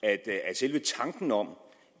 at selve tanken om